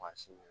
Maa si